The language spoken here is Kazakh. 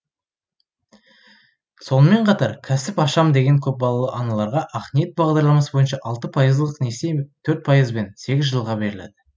сонымен қатар кәсіп ашам деген көпбалалы аналарға ақниет бағдарламасы бойынша алты пайыздық несие төрт пайызбен сегіз жылға беріледі